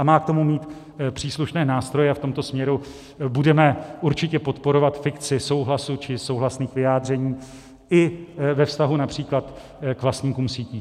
A má k tomu mít příslušné nástroje, a v tomto směru budeme určitě podporovat fikci souhlasu či souhlasných vyjádření i ve vztahu například k vlastníkům sítí.